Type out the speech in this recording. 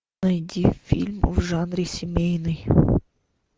найди фильм в жанре семейный